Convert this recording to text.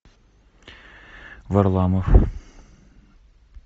варламов